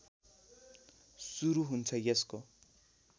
सुरु हुन्छ यसको